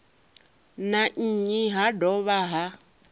na nnyi ha dovha ha